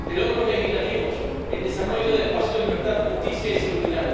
de logros legislativos en el desarrollo del espacio de libertad, justicia y seguridad.